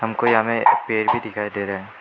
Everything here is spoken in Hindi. हमको यहां में पेड़ भी दिखाई दे रा है।